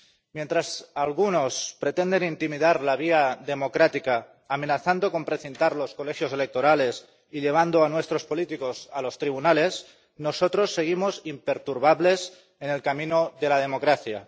Mientras algunos pretenden intimidar la vía democrática, amenazando con precintar los colegios electorales y llevando a nuestros políticos a los tribunales, nosotros seguimos imperturbables en el camino de la democracia.